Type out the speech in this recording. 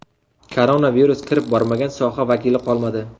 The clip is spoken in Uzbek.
Koronavirus kirib bormagan soha vakili qolmadi.